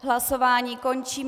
Hlasování končím.